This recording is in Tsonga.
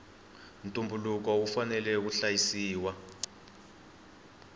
ntumbuluko wu fanela wu hlayisiwa